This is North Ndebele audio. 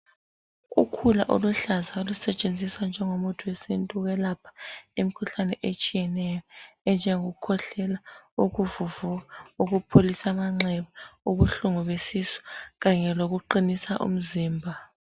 Ukhula oluluhlaza olusetshenziswa njengomuthi wesintu ukulapha imikhuhlane etshiyeneyo enjengokukhwehlela, ukuvuvuka, ukupholisa amanxeba, ubuhlungu besisu kanye lokuqinisa umzimba.